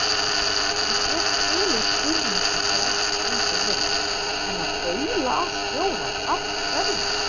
Ég get skilið pirringinn þegar ekki gengur vel, en að baula á stjórann. af hverju?